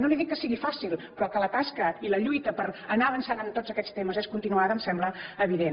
no li dic que sigui fàcil però que la tasca i la lluita per anar avançant en tots aquests temes és continuada em sembla evident